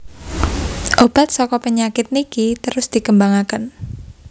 Obat saka penyakit niki terus dikembangaken